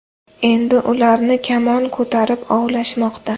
Endi ularni kamon ko‘tarib ovlashmoqda.